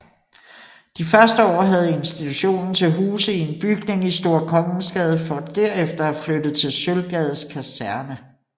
De første år havde institutionen til huse i en bygning i Store Kongensgade for derefter at flytte til Sølvgades Kaserne